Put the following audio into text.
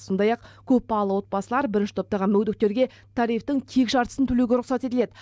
сондай ақ көпбалы отбасылар бірінші топтағы мүгедектерге тарифтің тек жартысын төлеуге рұқсат етіледі